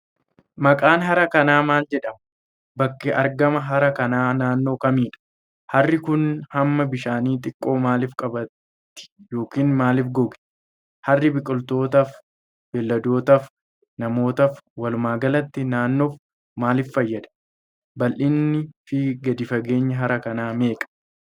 Maqaan hara kanaa maal jedhama? Bakki argama hara kanaa naannoo kamiidha? Harri kun hamma bishaanii xiqqoo maalif qabaati yokin maalif goge? Harri biqilootaaf, beeyladootaaf namootaaf walumaagalatti naannoof maaliif fayyada? Bal'inaa fi gadi fageenyi hara kana meeqa?